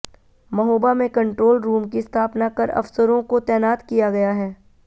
महोबा में control room की स्थापना कर अफसरों को तैनात किया गया है